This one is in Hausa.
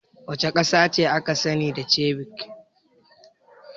Wace ƙasa ce aka sani da ceviche?